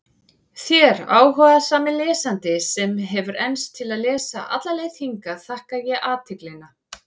Þér, áhugasami lesandi, sem hefur enst til að lesa alla leið hingað, þakka ég athyglina.